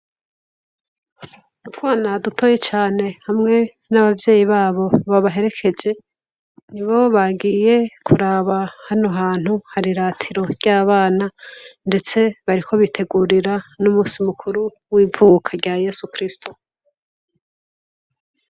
N’utwana dutoye cane hamwe n'abavyeyi babo babaherekeje ni bo bagiye kuraba hano hantu hariratiro ry'abana, ndetse bariko bitegurira n'umusi mukuru w'ivuka rya yesu kristo.